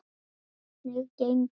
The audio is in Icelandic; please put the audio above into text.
Hvernig gengur?